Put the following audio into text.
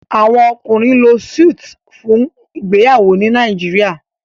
Àwọn ọkùnrin ló Súìtì fún ìgbéyàwó ní Nàìjíríà.